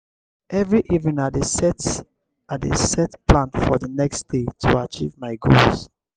every evening i dey set i dey set plan for the next day to achieve my goals.